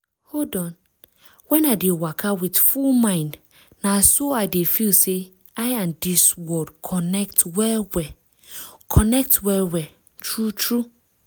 hold on when i dey waka with full mind na so i dey feel say i and dis world connect well-well. connect well-well. true true.